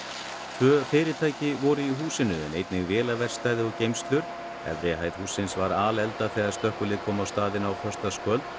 tvö fyrirtæki voru í húsinu en einnig vélaverkstæði og geymslur efri hæð hússins var alelda þegar slökkvilið kom á staðinn á föstudagskvöld